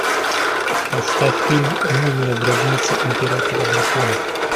поставь фильм мумия гробница императора драконов